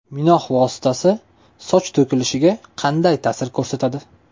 Minox vositasi soch to‘kilishiga qanday ta’sir ko‘rsatadi?